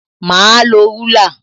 Mà á lo rúlà